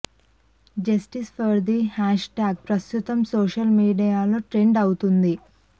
justice for Disha hashtag ప్రస్తుతం సోషల్ మీడియాలో ట్రెండ్ అవుతుంది